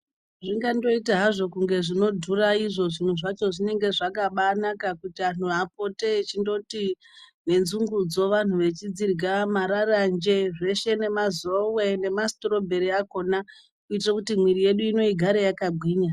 Zvingandoita hazvo kunge zvinodhura izvo zvinhu zvacho zvinenge zvakabanaka kuti anhu apote echindoti nenzungudzo vantu vechidzirya, mararanje zveshe nemazowe nemasitirobheri akona kuitire kuti mwiiri yedu ino agare akagwinya.